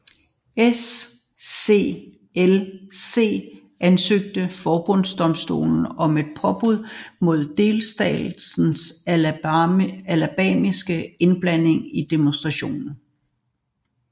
SCLC ansøgte forbundsdomstolen om et påbud mod delstaten Alabamas indblanding i demonstrationen